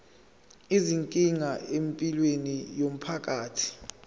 izinkinga empilweni yomphakathi